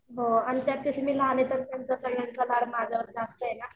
हो आणि त्यात कसे मी लहान आहे तर त्यांचा सगळ्यांचा लाड माझ्यावर जास्त आहे ना.